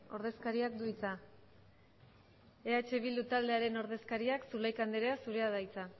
ordezkariak du hitza eh bildu taldearen ordezkariak zulaika andrea zurea da hitza